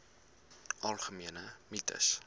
algemene mites